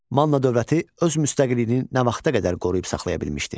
Manna dövləti öz müstəqilliyini nə vaxta qədər qoruyub saxlaya bilmişdi?